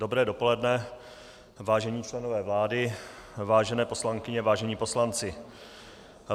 Dobré dopoledne, vážení členové vlády, vážené poslankyně, vážení poslanci.